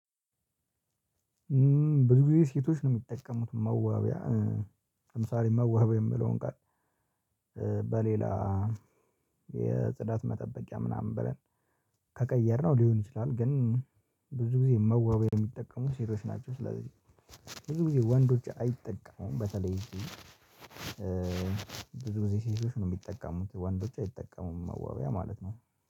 ብዙ ጊዜ ሴቶች ነው የሚጠቀሙት መዋቢያ ለምሳሌ መዋቢያ የምለውን ቃል በሌላ የጽዳት መጠበቂያ ምናምን ብለን ከቀየርነው ሊሆን ይችላል። ግን ብዙ ጊዜ መዋበያ የሚጠቀሙ ሴቶች ናቸው። ስለዚህ ብዙ ጊዜ ወንዶች አይጠቀሙም። በተለይ ብዙ ጊዜ ሴቶች ነው የሚጠቀሙት ወንዶች አይጠቀሙም መዋቢያ ማለት ነው፤።